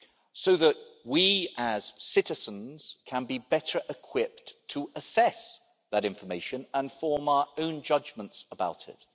so that we as citizens can be better equipped to assess that information and form our own judgments about it.